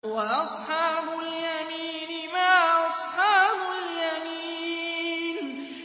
وَأَصْحَابُ الْيَمِينِ مَا أَصْحَابُ الْيَمِينِ